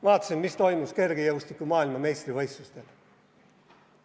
Ma vaatasin, mis toimus kergejõustiku maailmameistrivõistlustel.